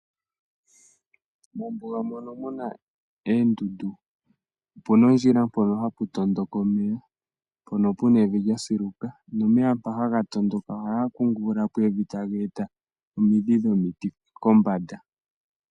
Pokuma mpono puna oondundu opuna ondjila mpono hapu tondoka omeya. Mpono pena evi lyasiluka nomeya mpa haga tondoka ohaga kungulula po evi noku eta omidhi dhomiti kombanda.